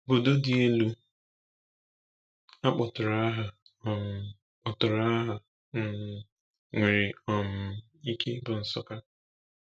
Obodo dị elu a kpọtụrụ aha um kpọtụrụ aha um nwere um ike ịbụ Nsukka.